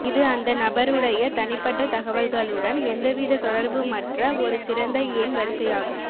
இது அந்த நபருடைய தனிப்பட்ட தகவல்களுடன் எந்தவித தொடர்புமற்ற ஒரு சிறந்த எண் வரிசையாகும்